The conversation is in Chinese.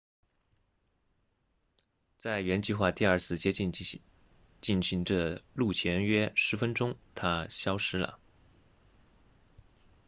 在原计划第二次接近进行着陆前约十分钟它消失了